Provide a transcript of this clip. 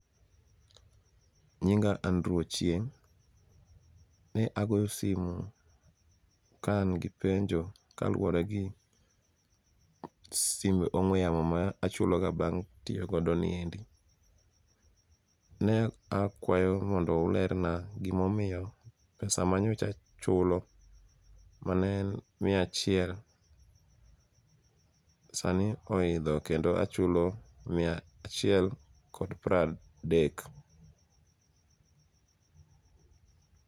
Nyinga Andrew Ochieng'. Ne agoyo simu kaangi penjo kaluwore gi simb ong'we yamo ma achuloga bang' tiogodo niendi. Ne akwayo mondo ulerna gimomio pesa manyocha chulo mane en mia achiel sani oidho kendo achulo mia achiel kod pradek.